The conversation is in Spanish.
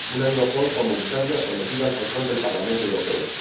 una Europol comunitaria sometida al control del Parlamento Europeo